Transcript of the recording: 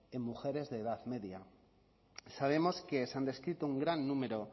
en mujeres de edad media sabemos que se han descrito un gran número